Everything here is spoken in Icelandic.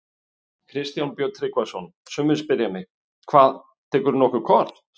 Kristján Björn Tryggvason: Sumir spyrja mig: Hvað, tekurðu nokkuð kort?